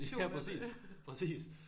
Ja præcis præcis